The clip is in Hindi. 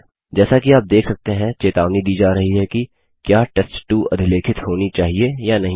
जैसा कि आप देख सकते हैं चेतावनी दी जा रही है कि क्या टेस्ट2 अधिलेखित होनी चाहिए या नहीं